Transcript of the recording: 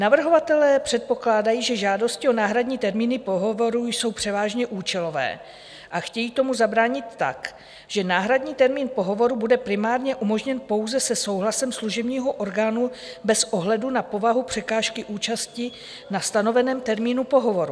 Navrhovatelé předpokládají, že žádosti o náhradní termíny pohovorů jsou převážně účelové, a chtějí tomu zabránit tak, že náhradní termín pohovoru bude primárně umožněn pouze se souhlasem služebního orgánu bez ohledu na povahu překážky účasti na stanoveném termínu pohovoru.